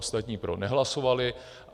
Ostatní pro nehlasovali.